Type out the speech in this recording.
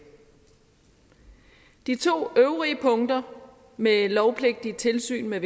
de to øvrige punkter med lovpligtige tilsyn med